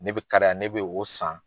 Ne bɛ kariya ne be o san